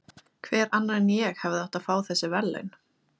Hver annar en ég hefði átt að fá þessi verðlaun?